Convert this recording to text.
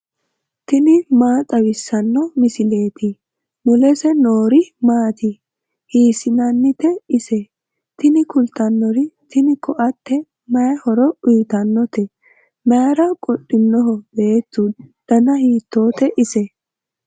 tini maa xawissanno misileeti ? mulese noori maati ? hiissinannite ise ? tini kultannori tini koatte may horo uyitannote mayra qodhinoho beetu dana hiitoote ise